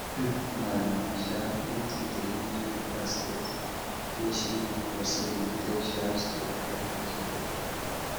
my um aunty dey use old basket wey she hang for ceiling take um store dry vegetable